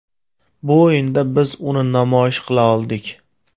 Bu o‘yinda biz uni namoyish qila oldik.